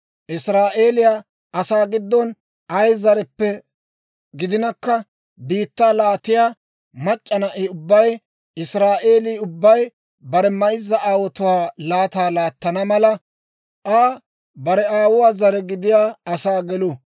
Israa'eeliyaa asaa giddon ay zareppe gidinakka, biittaa laattiyaa mac'c'a na'i ubbay, Israa'eelii ubbay bare mayzza aawotuwaa laataa laattana mala, Aa bare aawuwaa zare gidiyaa asaa gelu.